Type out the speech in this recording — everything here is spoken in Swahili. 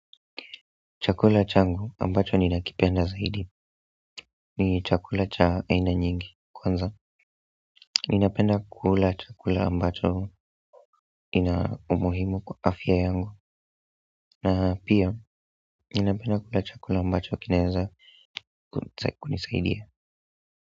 Chakula changu ambacho ninakipenda zaidi ni chakula cha aina nyingi kwanza ninapenda kula chakula ambacho ina umuhimu kwa afya yangu na pia ninapenda kula chakula ambacho kinaeza kunisaidia.